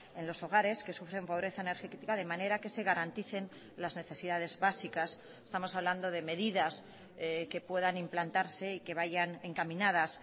en los hogares que sufren pobreza energética de manera que se garanticen las necesidades básicas estamos hablando de medidas que puedan implantarse y que vayan encaminadas